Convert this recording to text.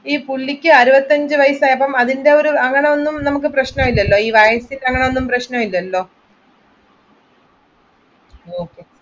ഈ പുള്ളിക്ക് അറുപത്തിയഞ്ച് വയസ്സാകുമ്പോൾ അങ്ങനെത്തെ പ്രശ്നമൊന്നുമില്ലല്ലോ അങ്ങനെ ഒന്നും പ്രശ്നമില്ലെല്ലോ Okay